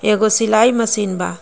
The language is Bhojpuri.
एगो सिलाई मशीन बा.